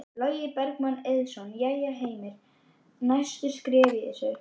Logi Bergmann Eiðsson: Jæja Heimir, næstu skref í þessu?